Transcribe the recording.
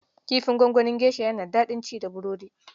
Kifin gwanganin geisha yana da daɗin ci da burodi.